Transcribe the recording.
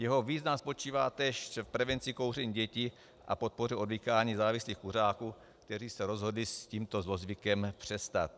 Jeho význam spočívá též v prevenci kouření dětí a podpoře odvykání závislých kuřáků, kteří se rozhodli s tímto zlozvykem přestat.